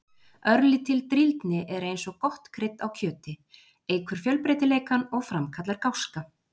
Örlítil drýldni er eins og gott krydd á kjöti, eykur fjölbreytileikann og framkallar gáska.